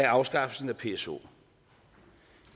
afskaffelsen af pso